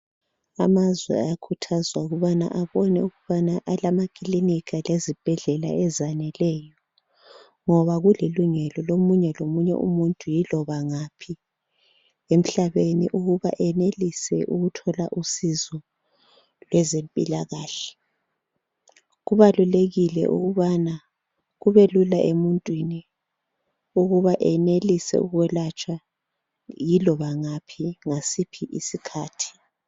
Amazwe ayakhuthazwa ukubana abone ukubana alamakilinika lezibhedlela ezaneleyo, ngoba kulilungelo lomunye lomunye umuntu yiloba ngaphi emhlabeni ukuba enelise ukuthola usizo lwezempilakahle. Kubalulekile ukubana kube lula emuntwini ukuba enelise ukuyelatshwa yiloba ngasiphi isikhathi.